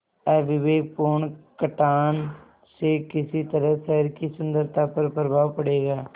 अविवेकपूर्ण कटान से किस तरह शहर की सुन्दरता पर प्रभाव पड़ेगा